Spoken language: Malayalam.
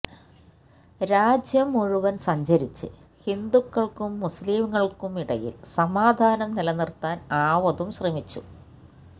രാജ്യം മുഴുവന് സഞ്ചരിച്ച് ഹിന്ദുക്കള്ക്കും മുസ്ലിങ്ങള്ക്കുമിടയില് സമാധാനം നിലനിര്ത്താന് ആവതും ശ്രമിച്ചു